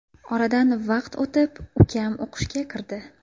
Oradan vaqt o‘tib, ukam o‘qishga kirdi.